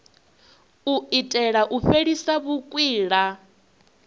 u itela u fhelisa vhukwila